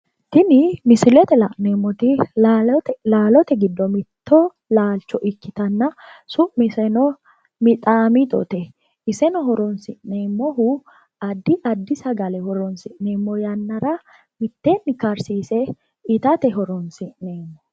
Tini misilete la'neemmoti lalote giddo mitto laalcho ikkitanna su'miseno mixaamixote. Iseno horoonsi'neemmohu addi addi sagale horoonsi'neemmo yannara mitteenni karsise itate horoonsi'neemmo.